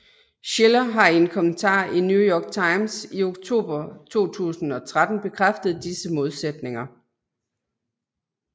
Shiller har i en kommentar i New York Times i oktober 2013 bekræftet disse modsætninger